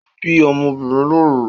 O bi ọ́mọ́ obìnrin lóru